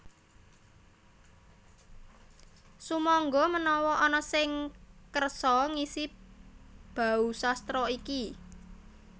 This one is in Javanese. Sumangga menawa ana sing kersa ngisi bausastra iki